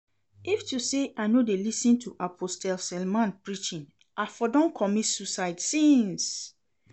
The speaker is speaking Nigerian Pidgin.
If to say I no dey lis ten to Apostle Selman preaching I for don commit suicide since